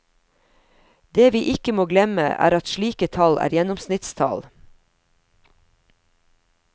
Det vi ikke må glemme, er at slike tall er gjennomsnittstall.